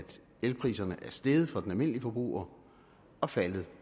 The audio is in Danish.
elpriserne er steget for den almindelige forbruger og faldet